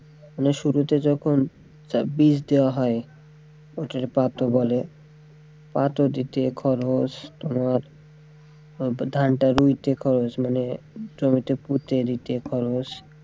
মানে শুরুতে যখন বিষ দেওয়া হয় ওকে বলে দিতে খরচ তোমার ধানটা রুইতে খরচ মানে জমিতে পুঁততে খরচ,